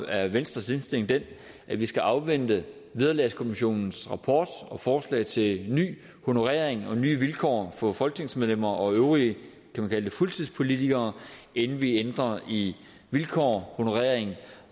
er venstres indstilling den at vi skal afvente vederlagskommissionens rapport og forslag til en ny honorering og nye vilkår for folketingsmedlemmer og øvrige fuldtidspolitikere inden vi ændrer i vilkår honorering